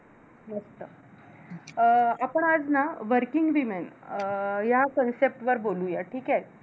मस्त. अं आपण आज ना working women अं या concept वर बोलूया. ठीके?